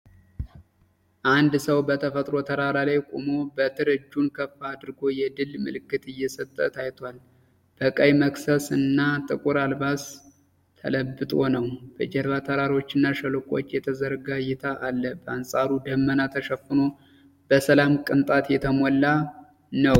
አንድ ሰው በተፈጥሮ ተራራ ላይ ቆሞ በትር እጁን ከፍ አድርጎ የድል ምልክት እየሰጠ ታይቷል። በቀይ መክሰስ እና ጥቁር አልባስ ተለብጦ ነው። በጀርባ የተራሮች እና የሸለቆዎች የተዘረጋ እይታ አለ፣ በአንፃፃፋ ደመና ተሸፍኖ በሰላም ቅንጣት የተሞላ ነው።